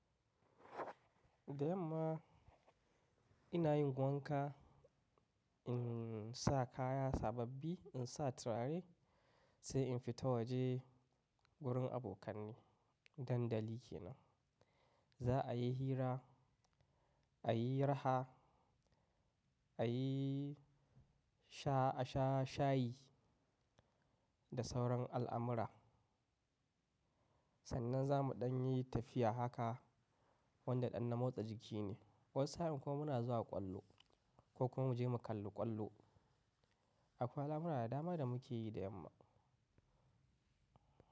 Da yamma ina yin wanka, insa kaya sababbi, insa turare sai in fita waje wurin abokanai na dandali kenan za'a yi hira, a yi raha, a yi sha asha shayi da sauran al'amura. Sanan zamu ɗanyi tafiya haka, wanda ɗan na motsa jikine. Wasu sa'in kuma muna zuwa ƙwallo ko kuma muje mu kalli ƙwallo. Akwai al'amuna da dama da muke yi da yamma.